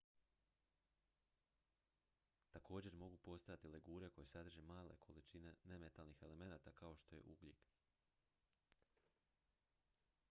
također mogu postojati legure koje sadrže male količine nemetalnih elemenata kao što je ugljik